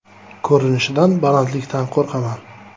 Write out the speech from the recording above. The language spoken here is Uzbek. Ko‘rinishidan balandlikdan qo‘rqaman.